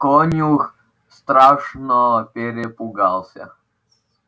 конюх страшно перепугался